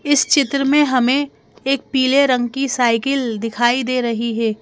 इस चित्र में हमें एक पीले रंग की साइकिल दिखाई दे रही है।